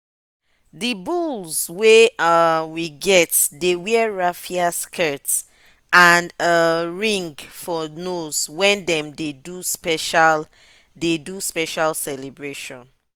the bulls wey um we get dey wear raffia skirts and um ring for nose when them dey do special dey do special celebration.